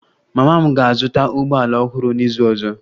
Mama m ga-azụta ụgbọ ala ọhụrụ n'izu ọzọ